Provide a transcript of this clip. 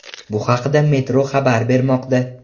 Bu haqda Metro xabar bermoqda .